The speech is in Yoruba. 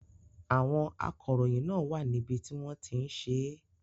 Àwọn akọ̀ròyìn náà wà níbi tí wọ́n ti ń ṣe é.